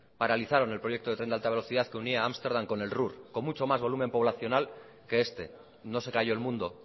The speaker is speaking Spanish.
paralizaron el proyecto de tren de alta velocidad que unía amsterdam con el ruhr con mucho más volumen poblacional que este no se cayó el mundo